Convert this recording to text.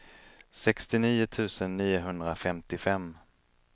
sextionio tusen niohundrafemtiofem